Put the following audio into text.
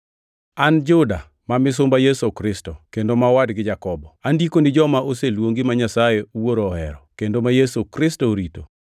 An Juda ma misumba Yesu Kristo, kendo ma owadgi Jakobo, Andiko ni joma oseluongi, ma Nyasaye Wuoro ohero, kendo ma Yesu Kristo orito: